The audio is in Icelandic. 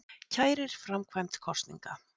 Kærir framkvæmd kosninga